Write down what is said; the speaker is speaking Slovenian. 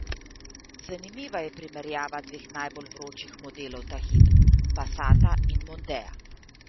Zanimiva je primerjava dveh najbolj vročih modelov ta hip, passata in mondea.